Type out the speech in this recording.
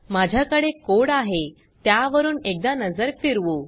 माझ्या कडे कोड आहे त्यावरून एकदा नजर फिरवू